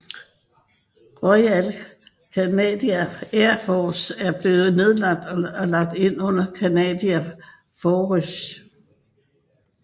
Royal Canadian Air Force var blevet nedlagt og lagt ind under Canadian Forces